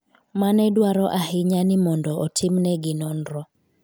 mane dwaro ahinya ni mondo otimnegi nonro